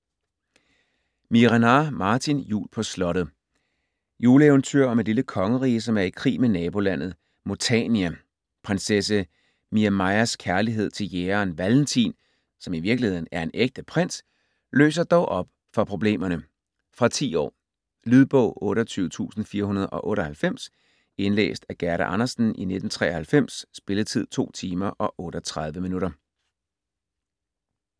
Miehe-Renard, Martin: Jul på slottet Juleeventyr om et lille kongerige, som er i krig med nabolandet Montania. Prinsesse Miamajas kærlighed til jægeren Valentin, som i virkeligheden er en ægte prins, løser dog op for problemerne. Fra 10 år. Lydbog 28498 Indlæst af Gerda Andersen, 1993. Spilletid: 2 timer, 38 minutter.